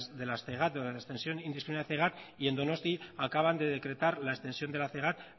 de la y en donosti acaban de decretar la extensión de la